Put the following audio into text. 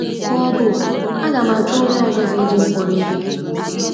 ma ọ bụ “ Aga m achọ onye ọzọ ga - eji m kpọrọ ihe! ”